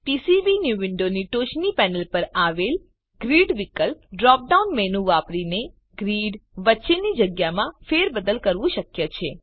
PCB new વિન્ડોની ટોચની panel પર આવેલ ગ્રિડ વિકલ્પ ડ્રોપ ડાઉન મેનુ વાપરીને ગ્રિડ વચ્ચેની જગ્યામાં ફેરબદલ કરવું શક્ય છે